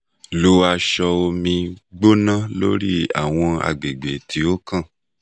lo aṣọ omi gbona lori awọn agbegbe ti o kan